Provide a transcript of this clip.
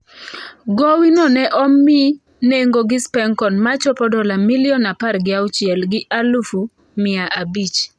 Gowino ne omi nengo gi Spencon machopo dola milion apar gi auchiel gi alufu mia abich.